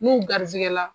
N'u garisigɛ la